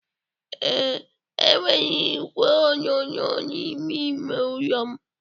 ee, enwere igwe onyonyo n'ime ime ụlọ m